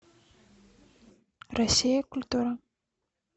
россия культура